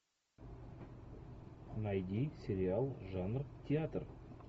найди сериал жанр театр